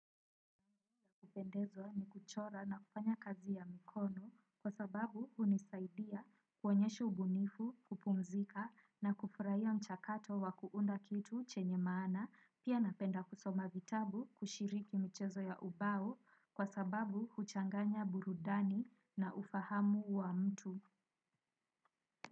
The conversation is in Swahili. Kupendezwa ni kuchora na kufanya kazi ya mikono kwa sababu hunisaidia kuonyesha ubunifu kupumzika na kufurahia mchakato wa kuunda kitu chenye maana pia napenda kusoma vitabu kushiriki mchezo ya ubao kwa sababu kuchanganya burudani na ufahamu wa mtu.